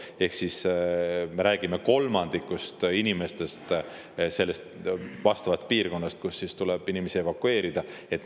Ehk siis me räägime kolmandikust inimestest piirkonnas, kust tuleb inimesi evakueerida.